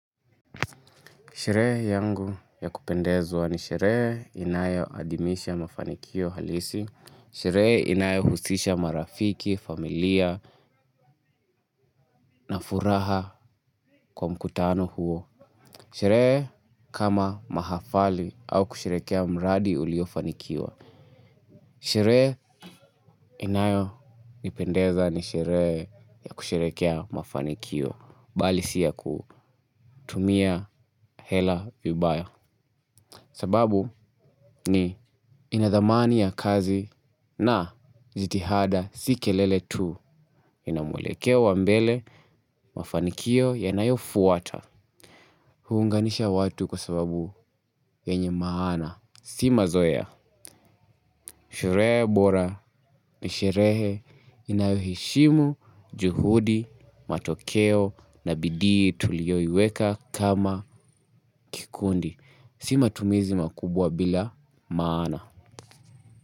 Sherehe yangu ya kupendezwa ni sherehe inayo adhimisha mafanikio halisi. Sherehe inayo husisha marafiki, familia na furaha kwa mkutano huo. Sherehe kama mahafali au kusherehekea mradi uliofanikiwa sherehe inayo nipendeza ni sherehe ya kusherehekea mafanikio bali si ya kutumia hela vibaya. Sababu ni inadhamani ya kazi na jitihada si kelele tu. Ina mwelekeo wa mbele mafanikio yanayofuata. Huunganisha watu kwa sababu yenye maana. Si mazoea. Sherehe bora ni sherehe inayoheshimu juhudi, matokeo na bidii tulioiweka kama kikundi. Sima tumizi makubwa bila maana.